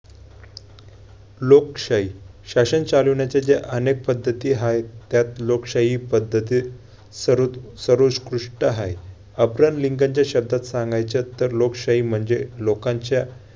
लोकशाही- शासन चालवण्याच्या ज्या अनेक पद्धती आहेत त्यात लोकशाही ही पद्धत सर्वोत~ सर्वोतकृष्ट आहे. अब्राहम लिंकनच्या शब्दात सांगायचं तर लोकशाही म्हणजे लोकांच्या